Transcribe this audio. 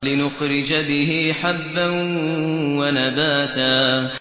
لِّنُخْرِجَ بِهِ حَبًّا وَنَبَاتًا